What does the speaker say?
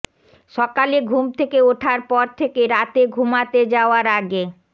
সকালে ঘুম থেকে ওঠার পর থেকে রাতে ঘুমাতে যাওয়ার আগে